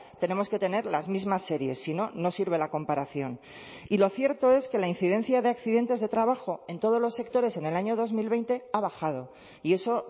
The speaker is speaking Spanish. tenemos que tener las mismas series si no no sirve la comparación y lo cierto es que la incidencia de accidentes de trabajo en todos los sectores en el año dos mil veinte ha bajado y eso